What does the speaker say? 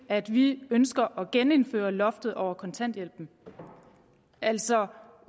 at vi ønsker at genindføre loftet over kontanthjælpen altså